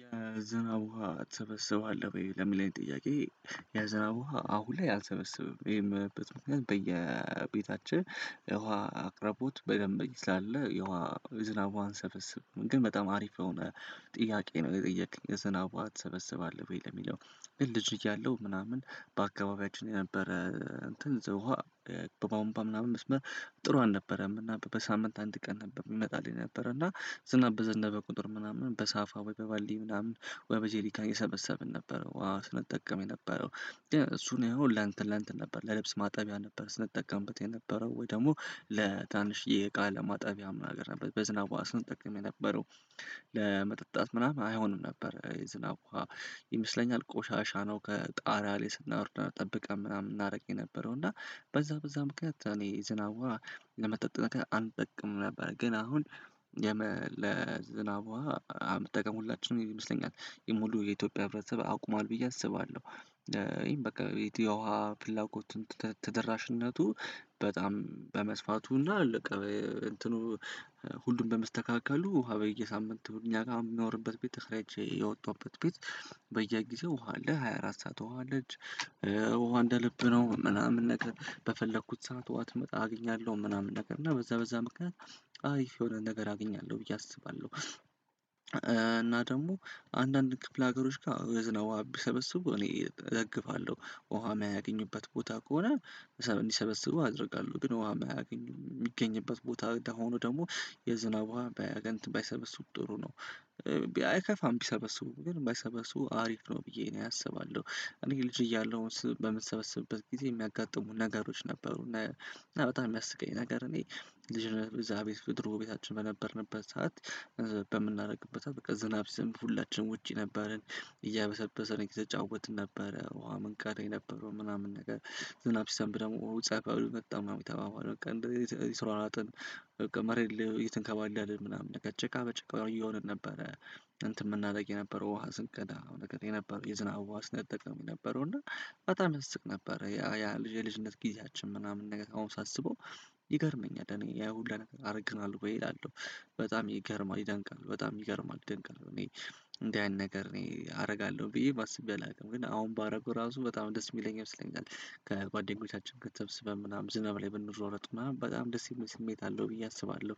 የዝናብ ውሃ ትሰበስባለህ ውይ? ለሚለኝ ጥያቄ የዝናብ ውሃ አሁን ላይ አልሰበስበም ይሄን በየቤታችን የውሃ አቅራቦት በደንብ ስላለ የውሃ ዝናብ አንሰበስብም ግን በጣም አሪፍ የሆነ ጥያቄ ነው የጠየቅኝ የዝናብውሃ ትሰበስባለህ ወይ ለሚለው ግን ልጅ እያለሁ ምናምን በአካባቢያችን የነበረ እንትን ዘውሃ በቧንቧ ምናምን መስመር ጥሩ አልነበረም እና በሳምንት አንድ ቀን ነበር የሚመጣልኝ ነበር እና ዝናብ በዘነበ ቁጥር ምናምን በሳፋ ወይ በባልዲ ምናምን ወይ በጄሊካ እየሰበሰብን ነበረ ውሃ ስንጠቀም የነበረው እሱን ያው ለአንተ ለአንተ ነበር ለልብስ ማጠቢያ ነበር ስንጠቀምበት የነበረው ወይ ደግሞ ለታንሽ እቃ ለማጠቢያ ምናምን አገር ነበር በዝናቧ ስንጠቀም የነበረው ለመጠጣት ምናምን አይሆንም ነበር የዝናብ ውሃ ይመስለኛል ቆሻሻ ነው ከጣራ ላይ ስናወርድ ጠብቀን ምናምን እናደርግ የነበረው እና በዛ በዛ ምክንያት እኔ ዝናዋ ለመጠጥ አንጠቅም ነበር ግን አሁን ለዝናብ ውሃ አንጠቀም ሁላችንም ይመስለኛል የሙሉ የኢትዮጵያ ህብረተሰብ አቁሟል ብዬ አስባለሁ በቃ የውሃ ፍላጎቱን ተደራሽነቱ በጣም በመስፋቱና ሁሉም በመስተካከሉ ውሃ በየሳምንቱ እኛ ጋር የሚኖርበት ቤት ተረጃ የወጣበት ቤት በየጊዜው ውሃ አለ ሃያ አራት ሰዓት ውሃ አለች ውሃ እንደ ልብ ነው ምናምን ነገር በፈለኩት ሰዓት ውሃ ትመጣ አገኛለሁ ምናምን ነገር እና በዛ በዛ ምክንያት አይ የሆነ ነገር አግኛለሁ ብዬ አስባለሁ እና ደግሞ አንዳንድ ክፍለ ሀገሮች ጋር የዝናብ ውሃ ቢሰበስቡ እኔ እገግፋለሁ ውሃ የሚያገኙበት ቦታ ከሆነ እንዲሰበስቡ አደርጋለሁ ግን ውሃ የማያገኙ የሚገኝበት ቦታ ሆኖ ደግሞ የዝናብ ውሃ ባይሰበስቡት ባይሰበስቡም ጥሩ ነው አይከፋም ቢሰበስቡም ግን ባይሰበስቡ አሪፍ ነው ብዬ እኔ አስባለሁ እኔ ልጅ እያለሁ በምሰበሰብበት ጊዜ የሚያጋጥሙኝ ነገሮች ነበሩ እና በጣም የሚያስቀኝ ነገር እኔ ልጅ ነው እዛ ቤት ድሮ ቤታችን በነበርንበት ሰዓት በምናደርግበት አለ በቃ ዝናብ ሲዘንብ ሁላችንም ውጪ ነበረን እያበሰበሰን እየተጫወትን ነበረ ውሃ መንካድ ነበረው ምናምን ነገር ዝናብ ሰንብ ደግሞ ውጤታማ መጣ ነው የሚተማመን በቃ እንደዚህ የስራውን አራጥን በቃ መሬት የትንከባለልን ምናምን ቀጭቃ በጭቃ እየሆነ ነበረ እንትን የምናደርግ የነበረው ውሃ ስንከዳ ነገር የነበረው የዝናብ ውሃ ስንጠቀመው የነበረው እና በጣም ይስቅ ነበር ያ ያ የልጅነት ጊዜያችን ምናምን ነገር አሁን ሳስበው ይገርመኛል እኔ ያ ሁሉ ነገር አደርግናለሁ ብዬ እላለሁ በጣም ይገርማል ይደንቃል በጣም ይገርማል ይደንቃል እኔ እንደዚህ ያን ነገር እኔ አደርጋለሁ ብዬ ባስቤ አላውቅም ግን አሁን ባደረገው ራሱ በጣም ደስ የሚለኝ ይመስለኛል ከጓደኞቻችን ከተበስበን ምናምን ዝናብ ላይ ብንሮረጥ ምናምን በጣም ደስ የሚል ስሜት አለው ብዬ አስባለሁ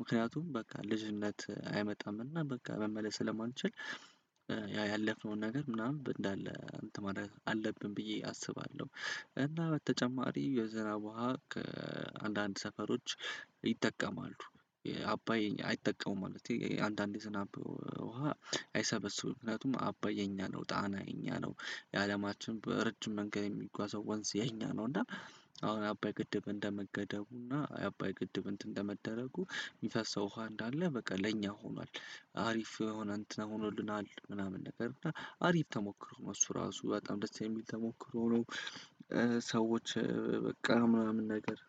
ምክንያቱም በቃ ልጅነት አይመጣም እና በቃ መመለስ ስለማንችል ያ ያለፍነውን ነገር ምናምን እንዳለ እንትን ማድረግ ብዬ አስባለሁ እና በተጨማሪ የዘራ ውሃ ከአንዳንድ ሰፈሮች ይጠቀማሉ አባዬ አይጠቀሙም ማለት ነው አንዳንዴ ዝናብ ውሃ አይሰበስቡም እነዚህም አባይ የኛ ነው ጣና የኛ ነው የአለማችን በረጅም መንገድ የሚጓዘው ወንዝ የኛ ነው እና አሁን አባይ ግድብ እንደመገደቡ እና አባይ ግድብ እንትን በመደረጉ የሚፈሰው ውሃ እንዳለ በቃ ለእኛ ሆኗል አሪፍ የሆነ እንትን ሆኖልናል ምናምን ነገር እና አሪፍ ተሞክሮ ነው እሱ ራሱ በጣም ደስ የሚል ተሞክሮ ነው ሰዎች በቃ ምናምን ነገር